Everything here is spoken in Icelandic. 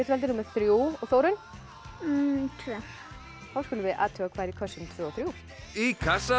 valdi númer þrjú og Þórunn tvö þá skulum við athuga hvað er í kössum tveimur og þriðja í kassa